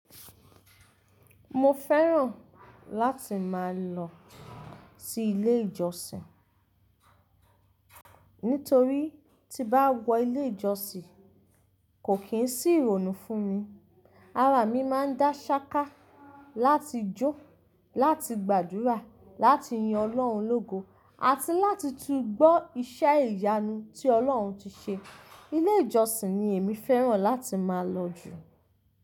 Mo fẹ́ràn láti máa lọ sí ilé ìjọsìn. Nítorí tí bá wọ ilé ìjọsìn, kò kí ń sí ìrònú fún mi. Ara mi máa ń dá ṣáká láti jó, láti gbàdúrà, láti yin Ọlọ́run lógo àti láti tún gbọ́ iṣẹ́ ìyanu tí Ọlọ́run ti ṣe. Ilé ìjọsìn ni èmi fẹ́ràn láti máa lọ jù.